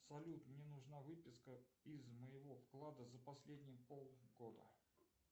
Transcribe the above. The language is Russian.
салют мне нужна выписка из моего вклада за последние полгода